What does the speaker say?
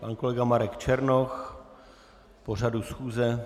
Pan kolega Marek Černoch k pořadu schůze.